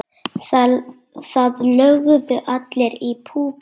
Það lögðu allir í púkkið.